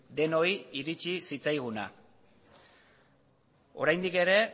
denoi iritsi zitzaiguna oraindik ere